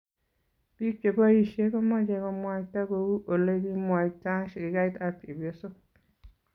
piik che boishe komache komwaita kou ole kimwaita shirikait ab chepyosok